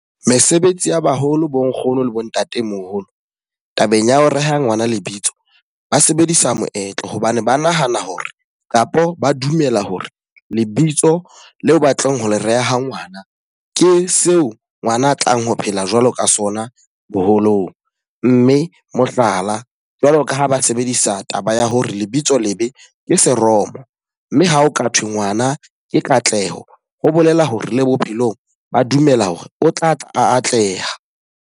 Mesebetsi ya baholo, bo nkgono le bo ntatemoholo, tabeng ya ho reha ngwana lebitso. Ba sebedisa moetlo hobane ba nahana hore kapa ba dumela hore lebitso leo ba tlong ho le reha ngwana ke seo ngwana a tlang ho phela jwalo ka sona boholong. Mme mohlala, jwalo ka ha ba sebedisa taba ya hore lebitso lebe ke seromo. Mme ha o ka thwe ngwana ke Katleho, ho bolela hore le bophelong ba dumela hore o tla tla a atleha.